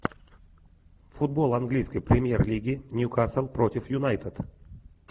футбол английской премьер лиги ньюкасл против юнайтед